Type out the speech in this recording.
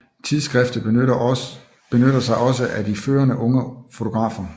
Tidsskriftet benyttede sig også af de førende unge fotografer